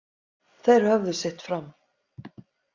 Þeir höfðu sitt fram.